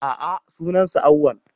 A'a, sunan sa Awwal